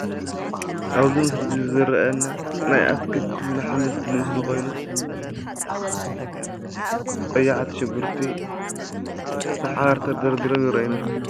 ኣብዚ ምስሊ እዚ ዝርኣየና ናይ ኣትክልትን ኣሕምልትን ምስሊ ኮይኑ ቀያሕቲ ሽጉርቲ ብሓባር ተደርድሮም ይረኣዩና።